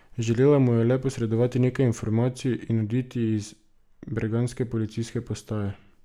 Želela mu je le posredovati nekaj informacij in oditi iz bergenske policijske postaje.